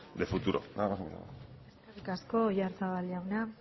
de futuro nada más y muchas gracias eskerrik asko oyarzabal jauna